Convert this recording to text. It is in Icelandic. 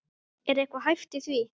Er eitthvað hæft í því?